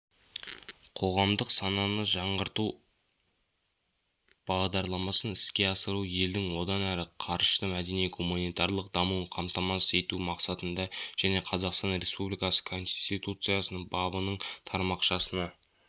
қоғамдық сананы жаңғырту бағдарламасын іске асыру елдің одан әрі қарышты мәдени-гуманитарлық дамуын қамтамасыз ету мақсатында және қазақстан республикасы конституциясының бабының тармақшасына